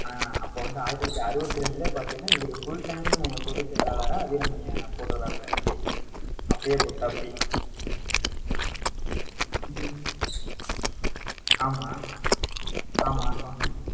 ஆஹ் அப்போ வந்து ஆயிரத்தி தொள்ளாயிரத்தி அறுபத்தி ரெண்டுலே பாத்தீங்கன்னா இவரு full time பொது செயலாளரா, வீரமணியை போட்டிருக்காப்படி அப்படியே அப்பையே போட்டுட்டாப்படி. ஹம் ஆமா ஆமா சொன்னேன்